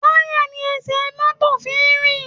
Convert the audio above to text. Táyà ni ẹsẹ̀ tí mọ́tò fi ń rìn